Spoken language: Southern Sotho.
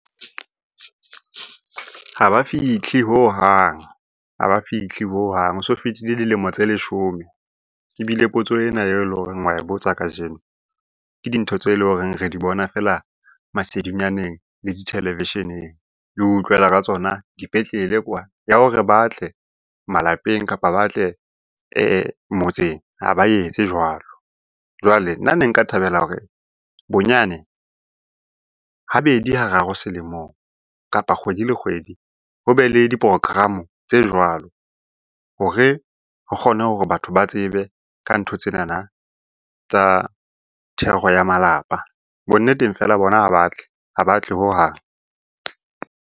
Ha ba fihle hohang, ha ba fihle hohang. Ho so fetile dilemo tse leshome, ebile potso enae leng hore wa e botsa kajeno ke dintho tse leng hore re di bona feela masedinyaneng le di televisheneng, le ho utlwela ka tsona dipetlele kwana. Ya hore ba tle malapeng, kapa ba tle motseng ha ba etse jwalo. Jwale nna ne nka thabela hore bonyane habedi, hararo selemong kapa kgwedi le kgwedi ho be le di-program-o tse jwalo hore re kgone hore batho ba tsebe ka ntho tsenana tsa thero ya malapa. Bonneteng feela bona ha batle, ha batle hohang.